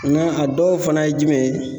a dɔw fana ye jumɛn ye ?